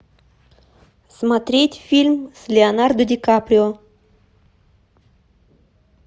смотреть фильм с леонардо ди каприо